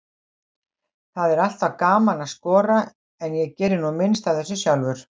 Það er alltaf gaman að skora, en ég geri nú minnst af þessu sjálfur.